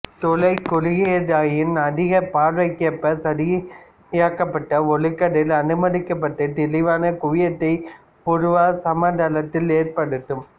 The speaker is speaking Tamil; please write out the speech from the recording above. துளை குறுகியதாயின் அதிகம் பார்வைக்கேற்ப சரியாக்கப்பட்ட ஒளிக்கதிர் அனுமதிக்கப்பட்டு தெளிவான குவியத்தை உருவ சமதளத்தில் ஏற்படுத்தும்